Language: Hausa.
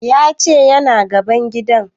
Ya ce yana gaban gidan